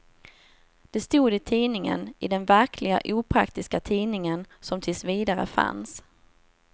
Det stod i tidningen, i den verkliga opraktiska tidningen som tills vidare fanns.